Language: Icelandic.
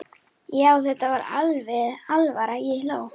Þetta var alvara, ég hló.